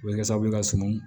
O bɛ kɛ sababu ye ka suma